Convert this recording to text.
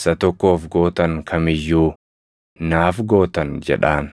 isa tokkoof gootan kam iyyuu naaf gootan’ jedhaan.